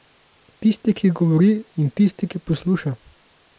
Tisti, ki govori, in tisti, ki posluša.